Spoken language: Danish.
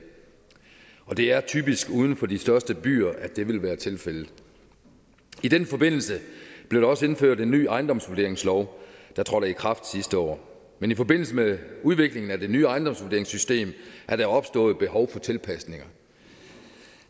og det er typisk uden for de største byer at det vil være tilfældet i den forbindelse blev der også indført en ny ejendomsvurderingslov der trådte i kraft sidste år men i forbindelse med udviklingen af det nye ejendomsvurderingssystem er der opstået et behov for tilpasninger